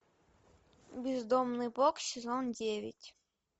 бездомный бог сезон девять